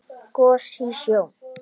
Gos í sjó